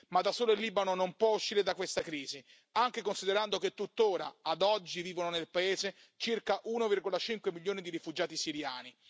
Ma da solo il Libano non può uscire da questa crisi, anche considerando che tuttora ad oggi vivono nel paese circa 1,5 milioni di rifugiati siriani.